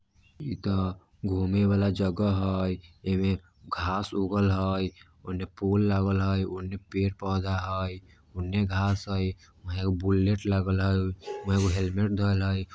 इ त घूमे वाला जगह हैय ऐवे घास उगल हैय अने पोल लागल हैय उने पेड़ पौधा है उने घास है यहां एक बुलेट लागल हैय एमा एगो हेलमेट है।